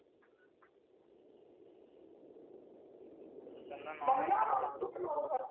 मग या मग तु